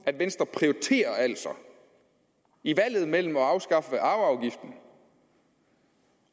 at venstre altså i valget mellem at afskaffe arveafgiften